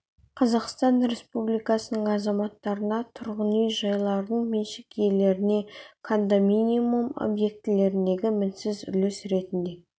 қазақстан республикасының азаматтарына тұрғын үй-жайлардың меншік иелеріне кондоминиум объектілеріндегі мінсіз үлес ретінде